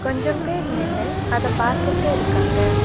கொஞ்சம் பேர் நின்னு அத பாத்துட்டு இருக்காங்க.